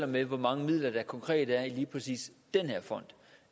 med hvor mange midler der konkret er i lige præcis den her fond